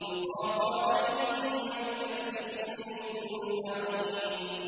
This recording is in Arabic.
يُطَافُ عَلَيْهِم بِكَأْسٍ مِّن مَّعِينٍ